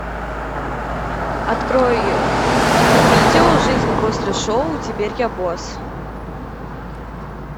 открой видео жизнь после шоу теперь я босс